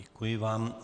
Děkuji vám.